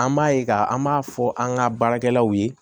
An b'a ye k'a an b'a fɔ an ka baarakɛlaw ye